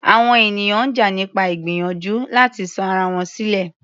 Àwọn ènìyàn ń jà nípa ìgbìyànjú láti sọ ara wọn sílẹ̀.